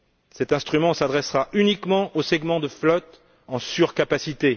Cet instrument s'adressera uniquement aux segments de flotte en surcapacité.